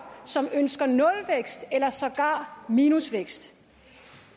som ønsker nulvækst eller sågar minusvækst